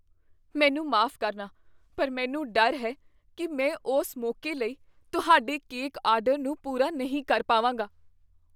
ਮੈਨੂੰ ਮਾਫ਼ ਕਰਨਾ, ਪਰ ਮੈਨੂੰ ਡਰ ਹੈ ਕੀ ਮੈਂ ਉਸ ਮੌਕੇ ਲਈ ਤੁਹਾਡੇ ਕੇਕ ਆਰਡਰ ਨੂੰ ਪੂਰਾ ਨਹੀਂ ਕਰ ਪਾਵਾਂਗਾ।